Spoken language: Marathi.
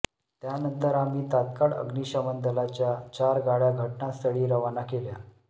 त्यानंतर आम्ही तात्काळ अग्निशमन दलाच्या चार गाड्या घटनास्थळी रवाना केल्या